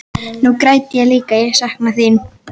Nú græt ég líka og sakna þín.